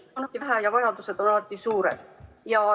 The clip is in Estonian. Raha on alati vähe ja vajadused on alati suured.